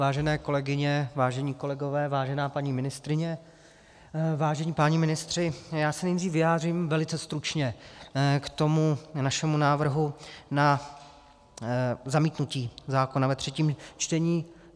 Vážené kolegyně, vážení kolegové, vážená paní ministryně, vážení páni ministři, já se nejdřív vyjádřím velice stručně k tomu našemu návrhu na zamítnutí zákona ve třetím čtení.